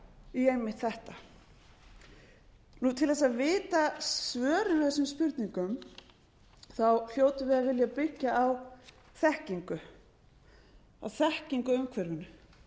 í einmitt þetta til þess að vita svörin við öllum spurningum hljótum við að vilja byggja á þekkingu á þekkingu á umhverfinu